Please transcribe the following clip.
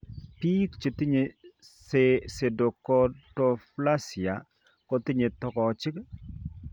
Biik chetinye pseudoachondroplasia kotinye togochik